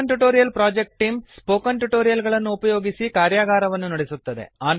spoken tutorial project team spoken tutorial ಗಳನ್ನು ಉಪಯೋಗಿಸಿ ಕಾರ್ಯಗಾರವನ್ನು ನಡೆಸುತ್ತದೆ